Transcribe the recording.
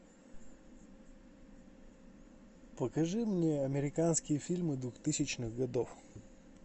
покажи мне американские фильмы двухтысячных годов